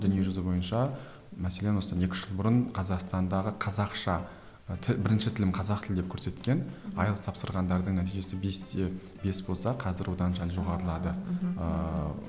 дүние жүзі бойынша мәселен осыдан екі үш жыл бұрын қазақстандағы қазақша тіл бірінші тілім қазақ тілі деп көрсеткен айлс тапсырғандардың нәтижесі бес те бес болса қазір одан сәл жоғарылады мхм ыыы